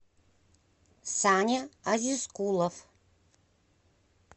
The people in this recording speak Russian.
саня азизкулов